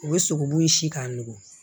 U bɛ sogobu in si k'a nugu